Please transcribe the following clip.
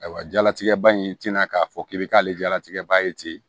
Ayiwa jalatigɛ ba in tɛna k'a fɔ k'i bɛ k'ale jalatigɛ ba ye ten